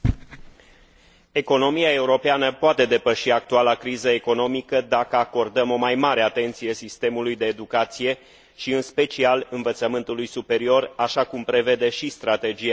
Economia europeană poate depăși actuala criză economică, dacă acordăm o mai mare atenție sistemului de educație și, în special, învățământului superior, așa cum prevede și Strategia Europa